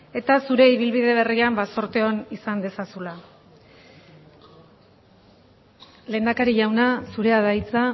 eta zure ibilbide berrian ba zorte on izan dezazula lehendakari jauna zurea da hitza